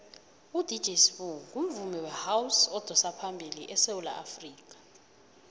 udj sbu ungumvumi wehouse odosaphambili esewula afrikha